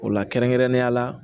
O la kɛrɛnkɛrɛnnenya la